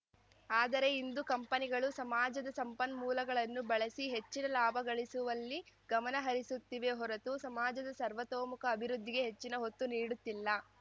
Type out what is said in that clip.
ಆದರೆ ಇಂದು ಕಂಪನಿಗಳು ಸಮಾಜದ ಸಂಪನ್ಮೂಲಗಳನ್ನು ಬಳಸಿ ಹೆಚ್ಚಿನ ಲಾಭ ಗಳಿಸುಲ್ಲಿ ಗಮನ ಹರಿಸುತ್ತಿವೆ ಹೊರತು ಸಮಾಜದ ಸರ್ವತೋರ್ಮುಖ ಅಭಿವೃದ್ಧಿಗೆ ಹೆಚ್ಚಿನ ಒತ್ತು ನೀಡುತ್ತಿಲ್ಲ